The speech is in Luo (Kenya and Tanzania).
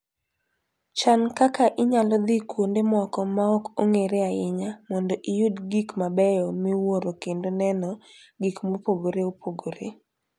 Chan kaka inyalo dhi kuonde moko ma ok ong'ere ahinya mondo iyud gik mabeyo miwuoro kendo neno gik mopogore opogore.